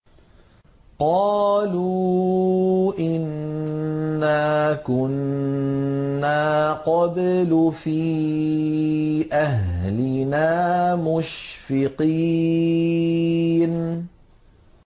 قَالُوا إِنَّا كُنَّا قَبْلُ فِي أَهْلِنَا مُشْفِقِينَ